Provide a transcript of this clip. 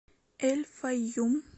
эль файюм